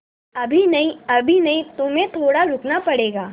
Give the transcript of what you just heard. अभी नहीं अभी नहीं तुम्हें थोड़ा रुकना पड़ेगा